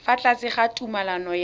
fa tlase ga tumalano ya